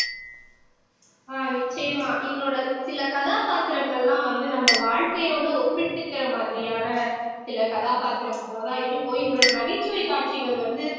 அஹ் நிச்சயமா இவரோட சில கதாபாத்திரங்கள்லாம் வந்து நம்ம வாழ்க்கையோட ஒப்பிட்டுக்கிற மாதிரியான சில கதாபாத்திரங்களாதான் இருக்கும் இவரோட நகைச்சுவை காட்சிகள் வந்து